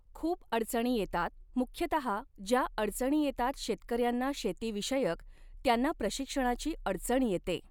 खूप अडचणी येतात मुख्यतहा ज्या अडचणी येतात शेतकऱ्यांना शेतीविषयक त्यांना प्रशिक्षणाची अडचण येते